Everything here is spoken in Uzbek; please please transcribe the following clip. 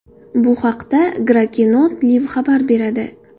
Bu haqda Gracenote Live xabar beradi .